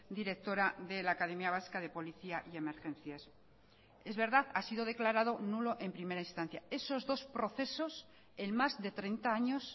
directora de la academia vasca de policía y emergencias es verdad ha sido declarado nulo en primera instancia esos dos procesos en más de treinta años